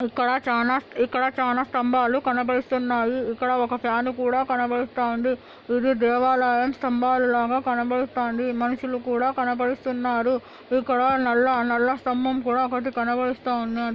ఇక్కడ చానా-ఇక్కడ చానా స్తంబాలు కనబడిస్తున్నాయి ఇక్కడ ఒక ఫ్యాన్ కూడా కనబడిస్తా ఉంది ఇది దేవాలాయం స్తంభాలాగా కనబడిస్తాంది. మనుషులు కూడా కనబడిస్తున్నారు ఇక్కడ నల్ల-నల్ల స్తంభం కూడా ఒకటి కనబడిస్తా ఉన్నది.